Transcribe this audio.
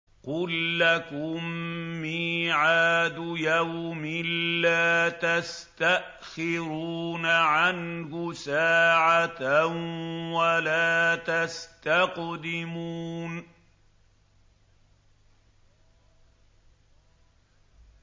قُل لَّكُم مِّيعَادُ يَوْمٍ لَّا تَسْتَأْخِرُونَ عَنْهُ سَاعَةً وَلَا تَسْتَقْدِمُونَ